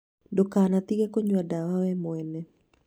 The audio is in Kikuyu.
Ndũkanatige kũnyua ndawa we mwene